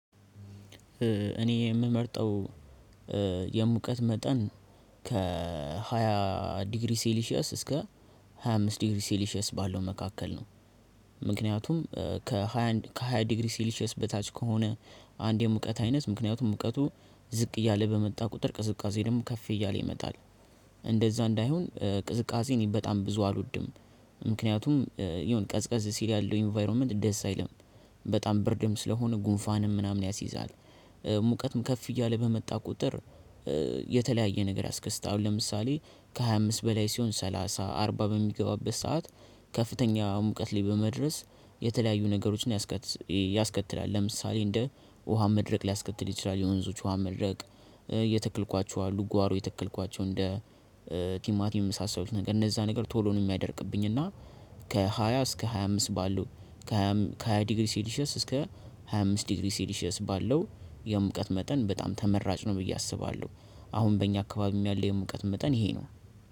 እኔ የምመርጠው የሙቀት መጠን ከሃያ ዲግሪ ሴሊሺየስ እስከ ሃያ አምስት ዲግሪ ሴሊሺየስ ባለው መካከል ነው። ምክንያቱም ከሃያ ከሃያ ዲግሪ ሲሊሸስ በታች ከሆነ አንዴ ሙቀት አይነት ምክንያቱም ሙቀቱ ዝቅ እያለ በመጣ ቁጥር ቅዝቃዜ ደግሞ ከፍ እያለ ይመጣል። እንደዛ እንዳይሆን ቅዝቃዜ እኔ በጣም ብዙ አልወድም። ምክንያቱም የሆነ ቀዝቀዝ ሲል ያለው ኢንቫይሮመንት ደስ አይልም። በጣም ብርድም ስለሆነ ጉንፋንም ምናምን ያስይዛል። ሙቀቱም ከፍ እያለ በመጣ ቁጥር የተለያየ ነገር ያስከስታል። አሁን ለምሳሌ ከሃያ አምስት በላይ ሲሆን ሰላሳ አርባ በሚገባበት ሰዓት ከፍተኛ ሙቀት ላይ በመድረስ የተለያዩ ነገሮችን ያስከትላል። ለምሳሌ እንደ ውሃ መድረቅ ሊያስከትል ይችላል። የወንዞች ውሃ መድረቅ። እየተክልኳቸው አሉ ጓሮ የተክልኳቸው እንደ ቲማቲም የመሳሰሉት ነገር እነዛ ነገር ቶሎ ነው የሚያደርቅብኝ። እና ከሃያ እስከ ሃያ አምስት ባለው ከሃያ ዲግሪ ሲሊሸስ እስከ ሃያ አምስት ዲግሪ ሲሊሸስ ባለው የሙቀት መጠን በጣም ተመራጭ ነው። ብዬ አስባለሁ። አሁን በእኛ አካባቢም ያለው የሙቀት መጠን ይሄ ነው።